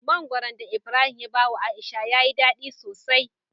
Mangoron da ibrahim ya bawa aisha yayi dadi sosai